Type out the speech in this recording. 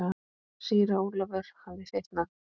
Síra Ólafur hafði fitnað.